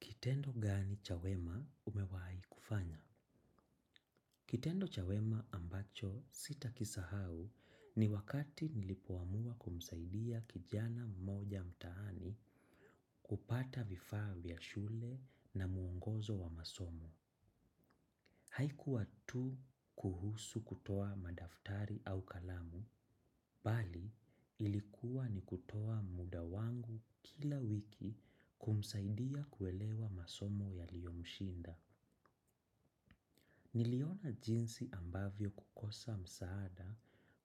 Kitendo gani cha wema umewahi kufanya. Kitendo cha wema ambacho sitakisahau ni wakati nilipoamua kumsaidia kijana mmoja mtaani kupata vifaa vya shule na muongozo wa masomo. Haikuwa tu kuhusu kutoa madaftari au kalamu, bali ilikuwa ni kutoa muda wangu kila wiki kumsaidia kuelewa masomo yaliyomshinda. Niliona jinsi ambavyo kukosa msaada